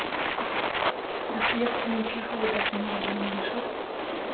достоевский мен чеховы да дүниеге келмеген шығар